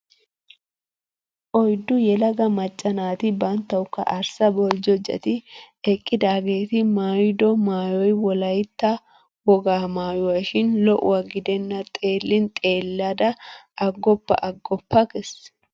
Oyddu yelaga macca naati banttawukka arssa boljjojjati eqqidaageeti maayido maayoy wolayttaa wogaa maayuwashin lo'uwa gidenna xeellin xeellada aggoppa aggoppa gees!